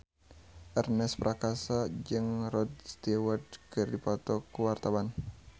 Ernest Prakasa jeung Rod Stewart keur dipoto ku wartawan